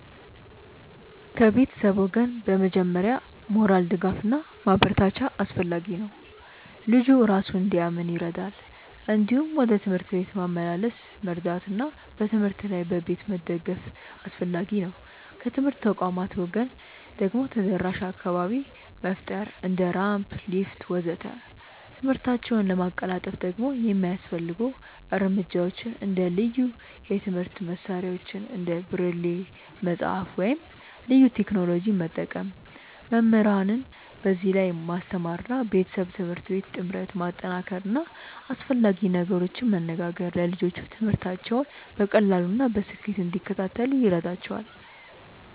ከቤተሰብ ወገን በመጀመሪያ ሞራል ድጋፍ እና ማበረታቻ አስፈላጊ ነው፣ ልጁ እራሱን እንዲያምን ይረዳል። እንዲሁም ወደ ትምህርት ቤት ማመላለስ መርዳት እና በትምህርት ላይ በቤት መደገፍ አስፈላጊ ነው። ከትምህርት ተቋማት ወገን ደግሞ ተደራሽ አካባቢ መፍጠር እንደ ራምፕ፣ ሊፍት ወዘተ..።ትምህርታቸውን ለማቀላጠፍ ደግሞ የሚያስፈልጉ እርምጃዎች እንደ ልዩ የትምህርት መሳሪያዎች እንደ ብሬል መጽሐፍ ወይም ልዩ ቴክኖሎጂ መጠቀም፣ መምህራንን በዚህ ላይ ማስተማር እና ቤተሰብ-ትምህርት ቤት ጥምረት ማጠናከር እና አስፈላጊ ነገሮችን መነጋገር ለልጆቹ ትምህርታቸውን በቀላሉ እና በስኬት እንዲከታተሉ ይረዳቸዋል።